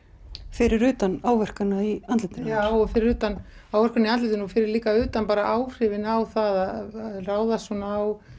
fyrir utan áverkana í andlitinu já og fyrir utan áverkana í andlitinu og fyrir líka utan áhrifin á það að ráðast svona á